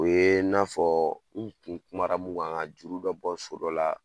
O ye n'a fɔ n tun kuma na mun kan, juru bɛ bɔ so dɔ la.